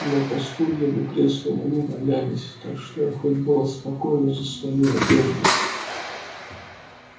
но по стульям и креслам они не валялись так что я хоть была спокойна за свою одежду